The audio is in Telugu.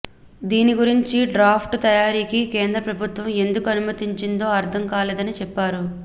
దీని గురించి డ్రాఫ్ట్ తయారీకి కేంద్ర ప్రభుత్వం ఎందుకు అనుమతిచ్చిందో అర్థం కాలేదని చెప్పారు